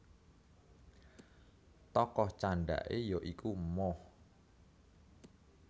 Tokoh candhake ya iku Moh